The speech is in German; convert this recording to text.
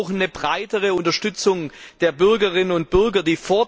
Wir brauchen eine breitere Unterstützung der Bürgerinnen und Bürger.